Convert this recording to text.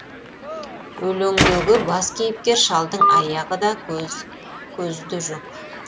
өлеңдегі бас кейіпкер шалдың аяғы да көзі де жоқ